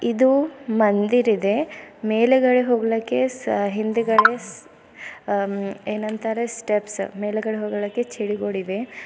ಇದು ಮಂದಿರಿದೆ ಮೇಲಗಡೆ ಹೋಗಲಿಕ್ಕೆ ಸ ಹಿಂದುಗಡೆ ಸ ಆ ಏನಂತಾರೆ ಸ್ಟೆಪ್ಸ್ ಮೇಲ್ಗಡೆ ಹೋಗ್ಲಿಕ್ಕೆ ಚಿಡಿಗಳಿವೆ.